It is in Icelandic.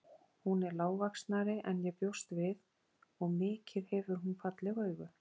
Hún er lágvaxnari en ég bjóst við og mikið hefur hún falleg augu.